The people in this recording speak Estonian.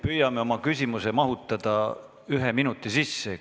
Püüame oma küsimuse mahutada ühe minuti sisse!